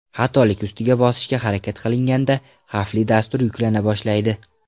Xatolik ustiga bosishga harakat qilinganda, xavfli dastur yuklana boshlaydi.